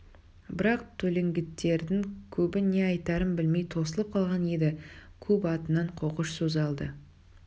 бірақ төлеңгіттердің көбі не айтарын білмей тосылып қалған еді көп атынан қоқыш сөз алды